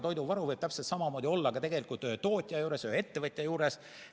Toiduvaru võib täpselt samamoodi olla ka tootja juures, ettevõtja juures.